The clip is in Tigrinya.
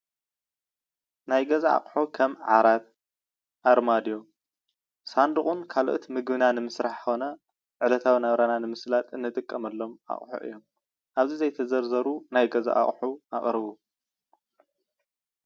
ናይ ገዛ ኣቁሕት ከም ዓራት፣ ኣርማድዮ፣ ሳንዱቅን ካልኦት ንምግብና ንምስራሕ ኮነ ዕለታዊ ናብራና ንምስላጥ እንጠቀመሎም ኣቁሑ እዮም፡፡ ኣብዚ ዘይተዘርዘሩ ናይ ገዛ ኣቁሑ ኣቅርቡ?